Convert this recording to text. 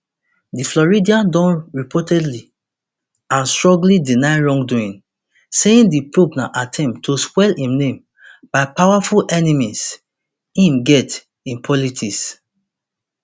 di floridian don repeatedly and strongly deny wrongdoing saying di probe na attempt to spoil im name by powerful enemies im get in politics